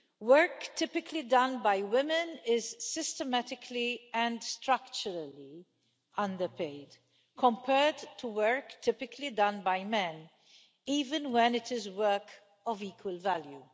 Work typically done by women is systematically and structurally underpaid compared to work typically done by men, even when it is work of equal value.